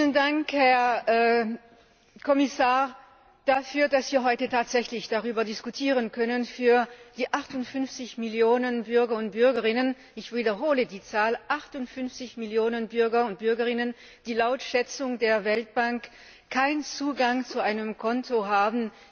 Vielen Dank, Herr Kommissar, dafür, dass wir heute tatsächlich darüber diskutieren können für die 58 Millionen Bürger und Bürgerinnen ich wiederhole die Zahl 58 Millionen Bürger und Bürgerinnen die laut Schätzung der Weltbank in der Europäischen Union keinen Zugang zu einem Konto haben.